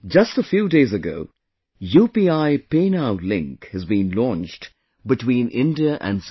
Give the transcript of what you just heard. Just a few days ago, UPIPay Now Link has been launched between India and Singapore